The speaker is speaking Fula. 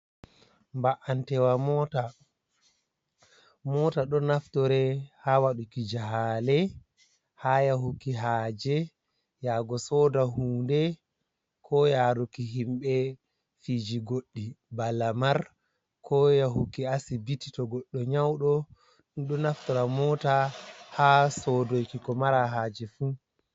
Ba’antewa mota. Mota ɗo naftore ha waɗuki jahale, ha yahuki haje yago soɗa hunɗe. Ko yaruki himbe fiji goɗɗi. bana lamar, ko yahuki asibiti to goɗxo nyauɗo. Ɗo naftora mota ha soɗoki ko mara haje fu.